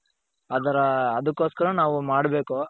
ಅದರ ಅದುಕ್ಕೊಸ್ಕರ ನಾವು ಮಾಡ್ಬೇಕು.